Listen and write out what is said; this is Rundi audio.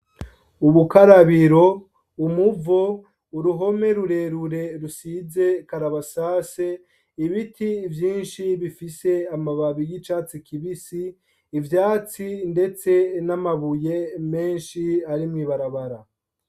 Urukarabiro, umuvo, uruhome rurerure rusize karabasase, ibiti vyinshi bifise amababi y'icatsi kibisi, ivyatsi ndetse n'amabuye menshi ari mw'ibarabara.